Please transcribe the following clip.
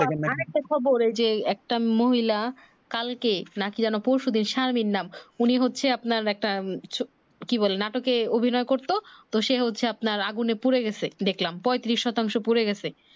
খবর এই যে একটা মহিলা কালকে নাকি যেনো পরশু দিন শারমিন নাম উনি হচ্ছে আপনার একটা ছ কি বলে নাটকে অভিনয় করতো তো সে হচ্ছে আপনার আগুনে পুরে গেছে দেখলাম পয়ত্রিশ শতাংশ পুরে গেছে